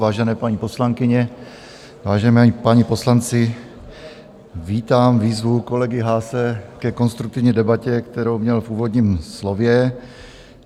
Vážené paní poslankyně, vážení páni poslanci, vítám výzvu kolegy Haase ke konstruktivní debatě, kterou měl v úvodním slově.